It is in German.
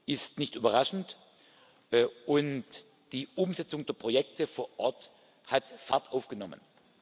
ist nicht überraschend, und die Umsetzung der Projekte vor Ort hat Fahrt aufgenommen.